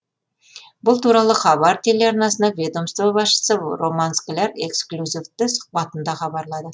бұл туралы хабар телеарнасына ведомство басшысы роман скляр эксклюзивті сұхбатында хабарлады